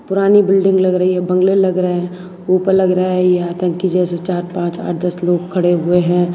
पुरानी बिल्डिंग लग रही है बंगले लग रहा है ऊपर लग रहा है यह आतंकी जैसे चार पांच आठ दस लोग खड़े हुए हैं।